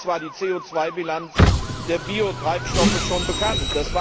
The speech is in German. Auch damals war die CO2 Bilanz der Biotreibstoffe schon bekannt.